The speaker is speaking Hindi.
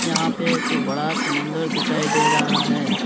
यहां पे एक बड़ा समंदर दिखाई दे रहा है।